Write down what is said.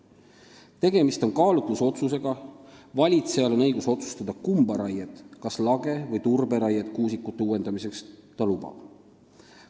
Tegemist on kaalutlusotsusega, valitsejal on õigus otsustada, kumba raiet, kas lage- või turberaiet, ta kuusikute uuendamiseks lubab.